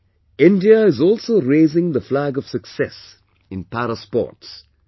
Today India is also raising the flag of success in Para Sports